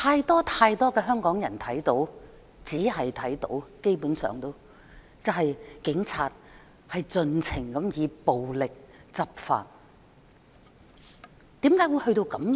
"但是，太多香港人看到，而且基本上只看到，警察盡情以暴力執法。